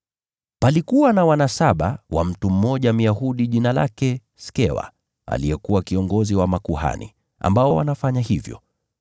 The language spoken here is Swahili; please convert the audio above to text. Wana saba wa Skewa, Myahudi aliyekuwa kiongozi wa makuhani, walikuwa wanafanya hivyo.